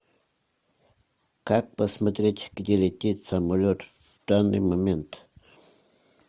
как посмотреть где летит самолет в данный момент